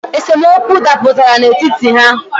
Esemokwu daputara n’etiti ha